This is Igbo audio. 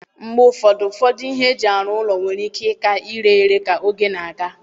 Mgbe ụfọdụ, ụfọdụ ihe eji arụ ụlọ nwere ike ịka ire ere ka oge na-aga.